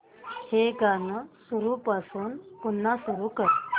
हे गाणं सुरूपासून पुन्हा सुरू कर